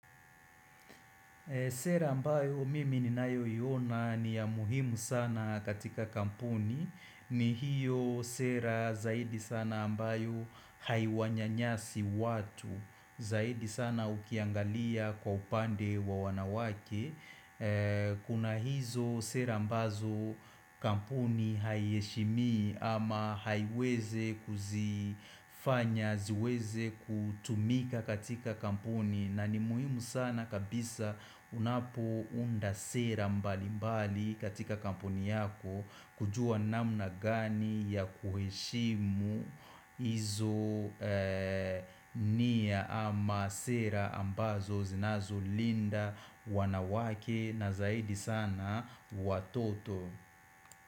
Sera ambayo mimi ni nayo iona ni ya muhimu sana katika kampuni ni hiyo sera zaidi sana ambayo haiwanyanyasi watu zaidi sana ukiangalia kwa upande wa wanawake Kuna hizo sera mbazo kampuni haiheshimii ama haiweze kuzifanya, ziweze kutumika katika kampuni na ni muhimu sana kabisa unapo unda sera mbali mbali katika kampuni yako kujua namna gani ya kuheshimu izo niya ama sera ambazo zinazo linda wanawake na zaidi sana watoto.